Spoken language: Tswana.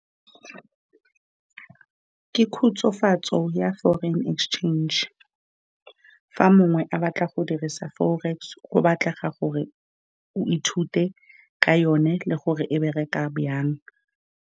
Ke khutsofatso ya forex exchange. Fa mongwe a batla go dirisa forex, go batlega gore o ithute ka yone le gore e bereka jang.